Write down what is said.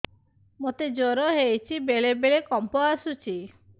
ମୋତେ ଜ୍ୱର ହେଇଚି ବେଳେ ବେଳେ କମ୍ପ ଆସୁଛି